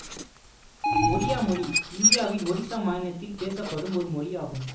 ஒடியா மொழி இந்தியாவின் ஒடிசா மாநிலத்தில் பேசப்படும் ஒரு மொழியாகும்